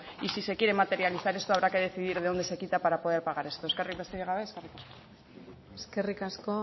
y si se quiere materializar esto habrá que decidir de dónde se quita para poder pagar esto besterik gabe eskerrik asko eskerrik asko